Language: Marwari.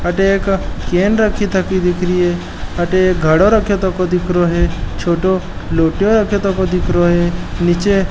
अठे एक कैन रखि थकी दिखरी है अठे एक घडो राख्यो थको दिखरो है छोटो लोट्यो रखो थको दिखरो है निचे --